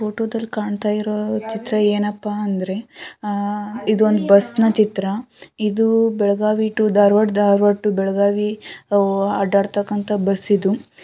ಫೋಟೋದಲ್ಲಿ ಕಾಣ್ತಾಇರೋ ಚಿತ್ರ ಏನಪ್ಪಾ ಅಂದ್ರೇ ಆ ಇದೊಂದ್ ಬಸ್ ನ ಚಿತ್ರ ಇದು ಬೆಳಗಾವಿ ಟು ಧಾರವಾಡ ಧಾರವಾಡ ಟು ಬೆಳಗಾವಿ ಅಡ್ಡಾಡತಕ್ಕಂತ ಬಸ್ ಇದು.